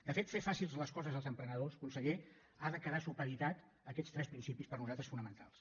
de fet fer fàcils les coses als emprenedors conseller ha de quedar supeditat a aquests tres principis per nosaltres fonamentals